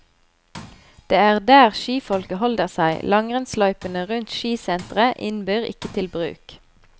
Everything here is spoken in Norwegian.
Det er der skifolket holder seg, langrennsløypene rundt skisenteret innbyr ikke til bruk.